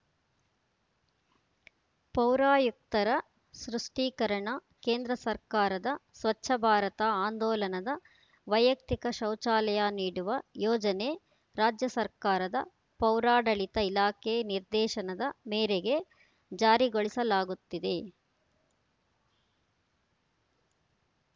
ಪೌರಾಯುಕ್ತರ ಸ್ಪಷ್ಟೀಕರಣ ಕೇಂದ್ರ ಸರ್ಕಾರದ ಸ್ವಚ್ಛ ಭಾರತ ಆಂದೋಲನದ ವೈಯಕ್ತಿಕ ಶೌಚಾಲಯ ನೀಡುವ ಯೋಜನೆ ರಾಜ್ಯ ಸರ್ಕಾರದ ಪೌರಾಡಳಿತ ಇಲಾಖೆ ನಿರ್ದೇಶನದ ಮೇರೆಗೆ ಜಾರಿಗೊಳಿಸಲಾಗುತ್ತಿದೆ